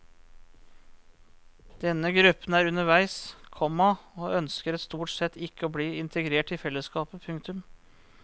Denne gruppen er underveis, komma og ønsker stort sett ikke å bli integrert i fellesskapet. punktum